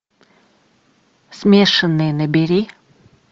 смешанные набери